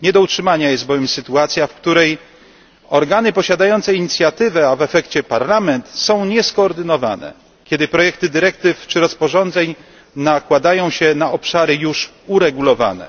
Nie do utrzymania jest bowiem sytuacja, w której organy posiadające inicjatywę, a w efekcie Parlament, są nieskoordynowane, kiedy projekty dyrektyw czy rozporządzeń nakładają się na obszary już uregulowane.